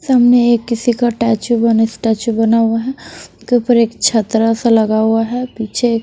सामने एक किसी का टैचू बना स्टैच्यू बना हुआ है उसके ऊपर एक छतरा सा लगा हुआ है पीछे एक--